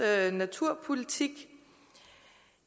naturpolitik